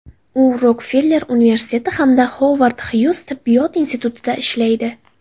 U Rokfeller universiteti hamda Xovard Xyuz Tibbiyot institutida ishlaydi.